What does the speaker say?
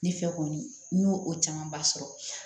Ne fɛ kɔni n y'o o camanba sɔrɔ